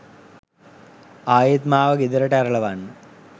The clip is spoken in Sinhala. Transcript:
ආයෙත් මාව ගෙදරට ඇරලවන්න